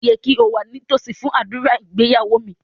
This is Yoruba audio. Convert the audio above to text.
Ó yẹ kí o wà nítòsí fún ádùrá ìgbéyàwó mi